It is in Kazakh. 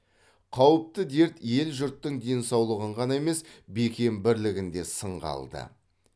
қауіпті дерт ел жұрттың денсаулығын ғана емес бекем бірлігін де сынға алды